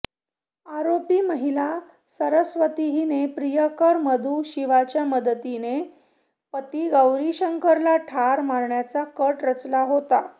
आरोपी महिला सरस्वती हिने प्रियकर मधू शीवाच्या मदतीने पती गौरीशंकरला ठार मारण्याचा कट रचला होता